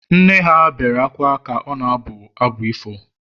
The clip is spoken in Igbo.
nne ha bewere akwa ka ọ na-abụ abụ ifo